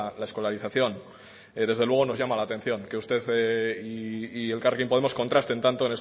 la escolarización desde luego nos llama la atención que usted y elkarrekin podemos contrasten tanto